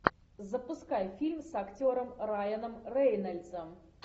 запускай фильм с актером райаном рейнольдсом